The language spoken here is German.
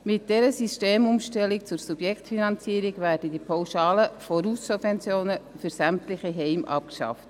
Mit dieser Systemumstellung zur Subjektfinanzierung werden die pauschalen Voraussubventionen für sämtliche Heime abgeschafft.